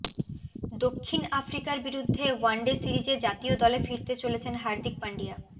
দক্ষিণ আফ্রিকার বিরুদ্ধে ওয়ানডে সিরিজে জাতীয় দলে ফিরতে চলেছেন হার্দিক পান্ডিয়া